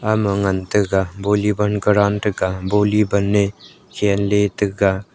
ama ngan taiga bolleyball ground threga bolleyball khelle taiga.